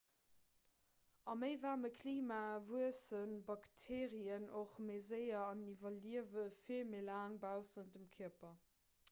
a méi waarme klimae wuesse bakteerien och méi séier an iwwerliewe vill méi laang baussent dem kierper